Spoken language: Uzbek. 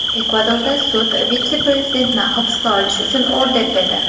Ekvadorda sud vitse-prezidentni hibsga olish uchun order berdi.